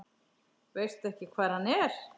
Veistu ekki hvar hann er?